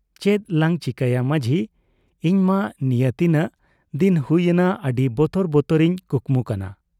ᱪᱮᱫ ᱞᱟᱝ ᱪᱤᱠᱟᱹᱭᱟ ᱢᱟᱹᱡᱷᱤ ᱾ᱤᱧᱢᱟ ᱱᱤᱭᱟᱹ ᱛᱤᱱᱟᱹᱜ ᱫᱤᱱ ᱦᱩᱭ ᱮᱱᱟ ᱟᱹᱰᱤ ᱵᱚᱛᱚᱨ ᱵᱚᱛᱚᱨ ᱤᱧ ᱠᱩᱠᱢᱩ ᱠᱟᱱᱟ ᱾